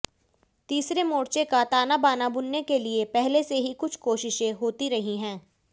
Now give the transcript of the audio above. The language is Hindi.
तीसरे मोर्चे का तानाबाना बुनने के लिए पहले से ही कुछ कोशिशें होती रही हैं